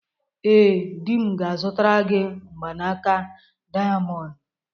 Ee, di m ga-azụtara gị mgbanaka dayamondu.